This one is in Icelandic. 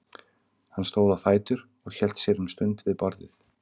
Hann stóð á fætur og hélt sér um stund við borðið.